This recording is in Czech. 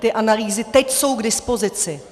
Ty analýzy teď jsou k dispozici.